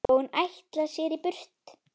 Og hún ætlar sér burt.